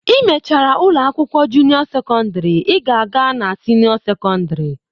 I mechara ụlọ akwụkwọ junio sekọndrị, ị ga-aga na sinio sekọndrị